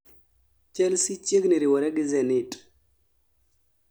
chelsea chiegni riwore gi zenit